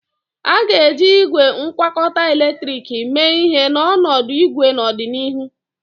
A ga-eji igwe ngwakọta eletrik mee ihe n'ọnọdụ ikwe n'ọdịnihu.